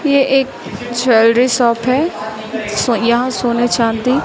ये एक jewellery shop है सो यहां सोने चांदी--